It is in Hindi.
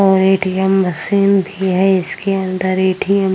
और ए.टी.एम. मशीन भी है इसके अंदर ए.टी.एम. --